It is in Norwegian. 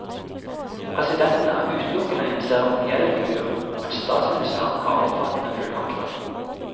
Presidenten er utelukkende en seremoniell figur, mens statsministeren har omfattende fullmakter.